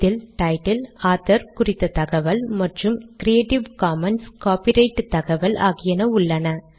இதில் title author குறித்த தகவல் மற்றும் கிரியேட்டிவ் காமன்ஸ் காப்பிரைட் தகவல் ஆகியன உள்ளன